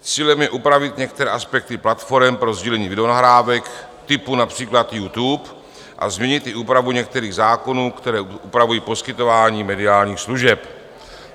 Cílem je upravit některé aspekty platforem pro sdílení videonahrávek typu například YouTube a změnit i úpravu některých zákonů, které upravují poskytování mediálních služeb.